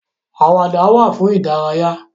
Àwàdà wà fún ìdárayá.